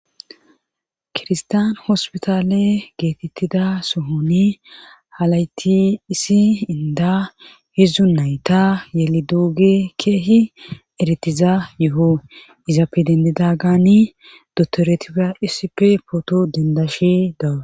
kirstan hospitale geetettida sohoni halayti issi inda hidzdzu nayta yeli dooge keehi eretiza yoho izapedendidagani dotoretipa issippe pooto dindashi dawu